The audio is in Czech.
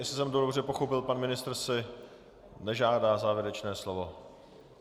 Jestli jsem to dobře pochopil, pan ministr si nežádá závěrečné slovo. .